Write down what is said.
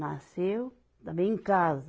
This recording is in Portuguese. Nasceu também em casa.